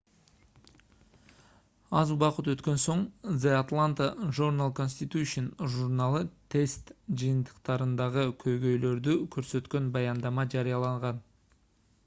аз убакыт өткөн соң the atlanta journal-constitution журналы тест жыйынтыктарындагы көйгөйлөрдү көрсөткөн баяндама жарыялаган